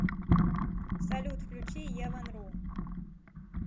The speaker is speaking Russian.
салют включи е ван ру